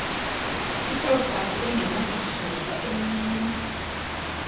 ipropati engenakususwa emnini